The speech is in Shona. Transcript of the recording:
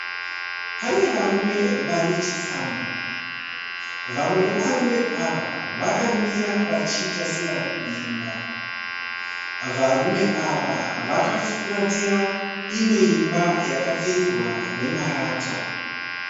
Pane varume vanechitsama, vamwe vevarume ava vakamira vachiita sevari kumba. Varume ava vakafuratira imwe imba yakapfirirwa nemarata.